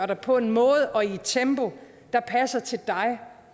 dig på en måde og i et tempo der passer til dig